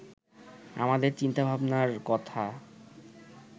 আমাদের চিন্তাভাবনার কথা